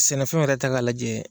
Sɛnɛfɛnw yɛrɛ ta k'a lajɛ.